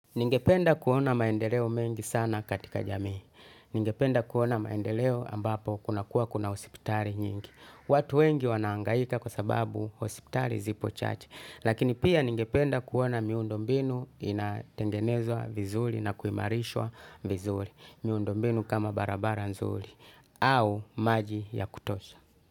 Ningependa kuona maendeleo mengi sana katika jamii. Ningependa kuona maendeleo ambapo kuna kuwa kuna osiptali nyingi. Watu wengi wanaangaika kwa sababu osiptali zipo chache. Lakini pia ningependa kuona miundombinu inatengenezwa vizuli na kuimarishwa vizuli. Miundombinu kama barabara nzuli. Au maji ya kutosha.